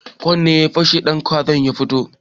Kwan ne ya fashe sai ɗantsakon ya fito